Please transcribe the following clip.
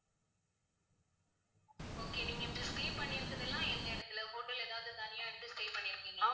okay நீங்க இப்ப stay பண்ணி இருக்கிறதெல்லாம் எந்த இடத்துல hotel எதாவது தனியா எடுத்து stay பண்ணி இருக்கீங்களா ma'am?